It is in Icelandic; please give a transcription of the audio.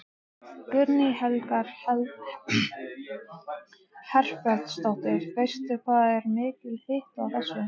Guðný Helga Herbertsdóttir: Veistu hvað er mikill hiti á þessu?